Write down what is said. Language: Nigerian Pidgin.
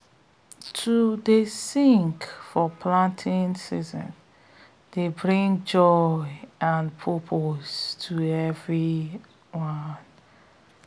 to dey sing for planting season dey bring joy and purpose to everyone